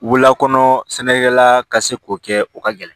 Wulakɔnɔ sɛnɛkɛla ka se k'o kɛ o ka gɛlɛn